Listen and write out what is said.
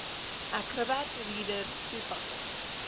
acrobat reader toepassing